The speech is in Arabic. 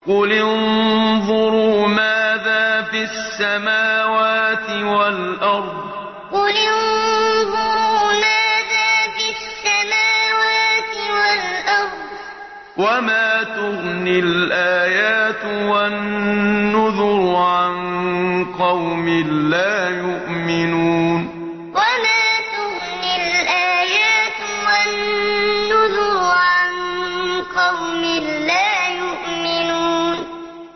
قُلِ انظُرُوا مَاذَا فِي السَّمَاوَاتِ وَالْأَرْضِ ۚ وَمَا تُغْنِي الْآيَاتُ وَالنُّذُرُ عَن قَوْمٍ لَّا يُؤْمِنُونَ قُلِ انظُرُوا مَاذَا فِي السَّمَاوَاتِ وَالْأَرْضِ ۚ وَمَا تُغْنِي الْآيَاتُ وَالنُّذُرُ عَن قَوْمٍ لَّا يُؤْمِنُونَ